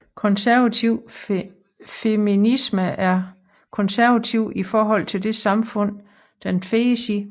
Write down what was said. Konservativ feminisme er konservativ i forhold til det samfund den findes i